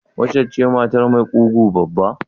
Waccen ce matar mai ƙugu babba?